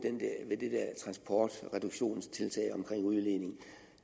reduktion